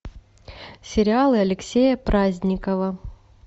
сериалы алексея праздникова